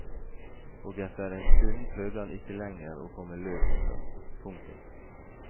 Og etter en stund prøvde han ikke lenger å komme løs en gang. punktum